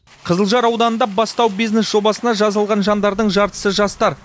қызылжар ауданында бастау бизнес жобасына жазылған жандардың жартысы жастар